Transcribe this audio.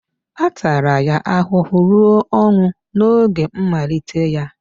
A tara ya ahụhụ ruo ọnwụ n'oge mmalite ya.